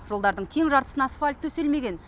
жолдардың тең жартысына асфальт төселмеген